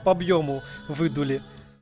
по объёму выдули